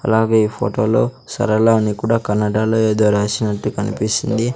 అలాగే ఈ ఫోటోలో సరళ అని కూడా కన్నడలో ఏదో రాసినట్టు కనిపిస్తుంది.